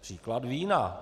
Příklad vína.